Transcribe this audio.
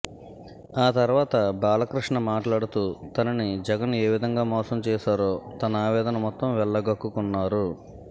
ఆ తర్వాత బాలకృష్ణ మాట్లాడుతూ తనని జగన్ ఏ విధంగా మోసం చేశారో తన ఆవేదన మొత్తం వెళ్లగక్కుకున్నారు